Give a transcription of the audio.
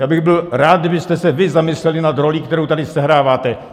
Já bych byl rád, kdybyste se vy zamysleli nad rolí, kterou tady sehráváte.